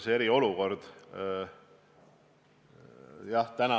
Hea peaminister!